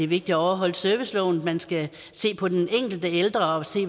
vigtigt at overholde serviceloven man skal se på den enkelte ældre og se